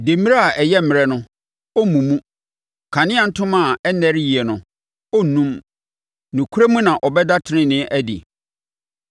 Demmire a ayɛ mmerɛ no, ɔremmu mu. Kanea ntoma a ɛnnɛre yie no, ɔrennum. Nokorɛ mu na ɔbɛda tenenee adi;